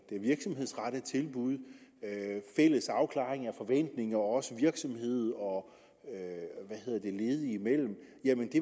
et virksomhedsrettet tilbud fælles afklaring af forventninger også virksomhed og ledige imellem